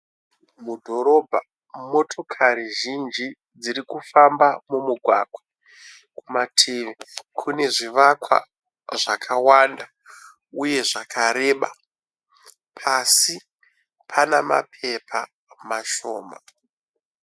Mudhorobha ,motokari zhinji dzirikufamba mumugwagwa. Kumativi kune zvivakwa zvakawanda uye zvakareba. Pasi pana mapepa mashoma.